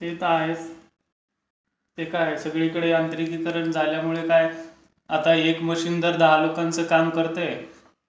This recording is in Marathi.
ते तर आहेच. ते तर आहेच. सगळीकडे यांत्रिकीकरण झाल्यामुळे आता एक मशीन जर दहा लोकांचं काम करते